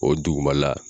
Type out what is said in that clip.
O dugumala